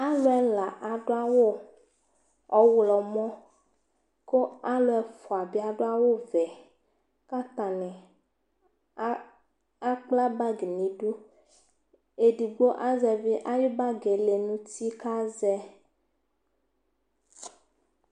alò ɛla adu awu ɔwlɔmɔ kò alò ɛfua bi adu awu vɛ k'atani akpla bag n'idu edigbo azɛvi ayi bag yɛ lɛ n'uti k'azɛ